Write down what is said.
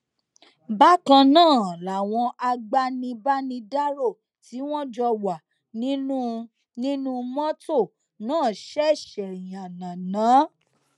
bákan náà làwọn agbanibánirò tí wọn jọ wà nínú nínú mọtò náà ṣẹṣẹ yánnayànna